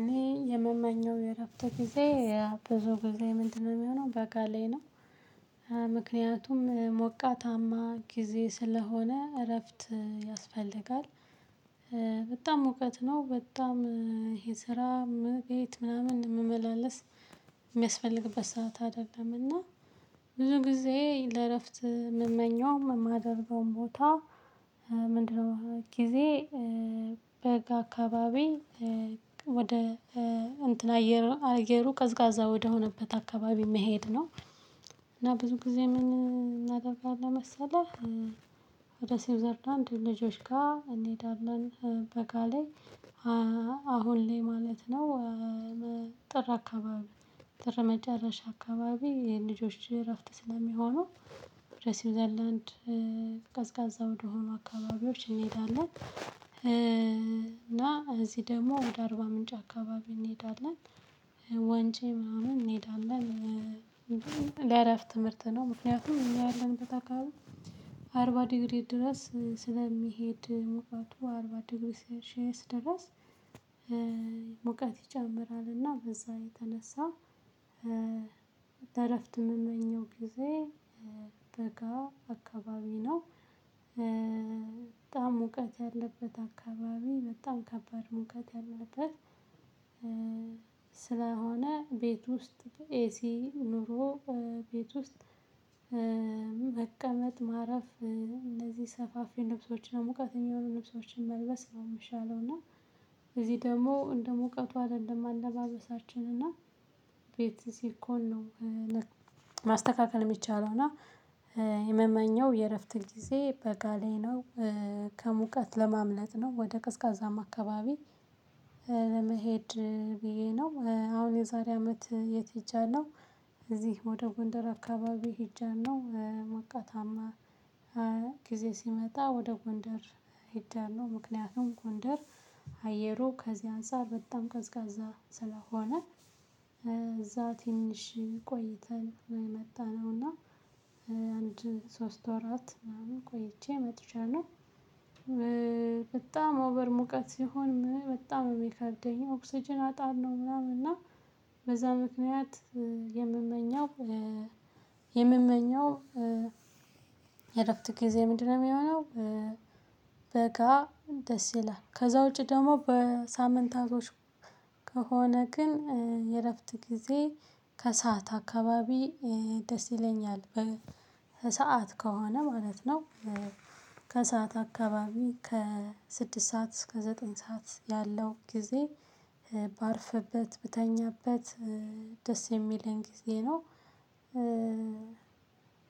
እኔ የምመኘው የእረፍተ ጊዜ የብዙ ጊዜ ምንድነው? የሚሆነው በጋ ላይ ነው ምክንያቱም ሞቃታማ ጊዜ ስለሆነ እረፍት ያስፈልጋል። ሙቀት ነው በጣም ይሄ ስራ ቤት ምናምን ምመላለስ። ሰዓት አይደለምና ብዙ ጊዜ ለእረፍት የምመኘውዉም የማደርገውም ቦታ ምንድነው? ጊዜ በጋ አካባቢ ወደ እንትን አየሩ ቀዝቃዛ ወደሆነበት አካባቢ መሄድ ነው። እና ብዙ ጊዜ ምን እናደርጋለን መሰለህ? ወደ ስዊዘርላንድ ልጆች ጋር እንሄዳለን በጋ ላይ። አሁን ላይ ማለት ነው። ጥር አካባቢ ጥር መጨረሻ አካባቢ የልጆች እረፍት ስለሚሆኑው ወደ ሲውዘርላንድ ቀዝቃዛ ወደሆኑ አካባቢዎች እንሄዳለን። እና እዚህ ደግሞ ወደ አርባ ምንጭ አካባቢ እንሄዳለን። ወንጪ ምናምን እንሄዳለን። ለአረፍ ትምህርት ነው ምክንያቱም እኛ ያለንበት አከባቢ አርባ ዲግሪ ድረስ ስለሚሄድ ሙቀቱ አርባ ዲግሪ ሴልሸየስ ድረስ። ሙቀት ይጨምራል እና በዛ የተነሳ። ለእረፍት የምመኘው ጊዜ በጋ አካባቢ ነው። በጣም ሙቀት ያለበት አካባቢ በጣም ከባድ ሙቀት ያለበት። ስለሆነ ቤት ውስጥ ኤሲ ኑሮ ቤት ውስጥ መቀመጥ ማረፍ እነዚህ ሰፋፊ ልብሶች ሙቀት የሚሆኑ ልብሶችን መልበስ የሚሻለው እና። እዚህ ደግሞ እንደምቀቱ አይደለም አለባበሳችን እና ቤት ሲኮን ነው። ማስተካከል የሚቻለው እና የመመኘው የእረፍት ጊዜ በጋ ላይ ነው። ከሙቀት ለማምለጥ ነው ወደ ቀዝቃዛማ አካባቢ። ለመሄድ ብዬ ነው አሁን የዛሬ አመት የት ሄጃለሁ ነው። እዚህ ወደ ጎንደር አካባቢ ሄጃለሁ ሞቃታማ ጊዜ ሲመጣ ወደ ጎንደር ሄጃለው። ምክንያቱም ጎንደር አየሩ ከዚያ አንፃር በጣም ቀዝቃዛ ስለሆነ። እዛ ትንሽ ቆይተን መጣነውና። አንድ ሶስት ወራት ምናምን ቆይቼ መጥቼያለሁ። በጣም ኦቨር ሙቀት ሲሆን በጣም የሚከብደኝ ኦክስጅን አጣለው ምናምን እና። በዛ ምክንያት የምመኘው የምመኘው የእረፍት ጊዜ ምንድነው የሚሆነው? በጋ ደስ ይላል። ከዛ ውጪ ደግሞ በሳምንታቶች ከሆነ ግን የእረፍት ጊዜ ከሰአት አካባቢ ደስ ይለኛል በሰአት ከሆነ ማለት ነው። ከሰአት አካባቢ ከስድስት ሰዓት እስከ ዘጠኝ ሰዓት ያለው ጊዜ ባርፍበት ብተኛበት ደስ የሚለኝ ጊዜ ነው።